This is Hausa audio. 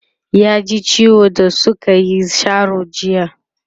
ya ji ciwo da sukayi Sharo jiya